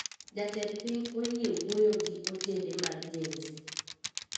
Jatend piny oyie wuyo gi ojende mag Gen z